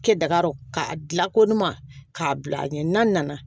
Kɛ dagarɔ k'a dila ko numan k'a bila a ɲɛ n'a nana